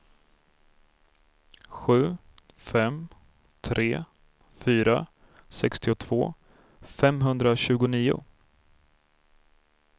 sju fem tre fyra sextiotvå femhundratjugonio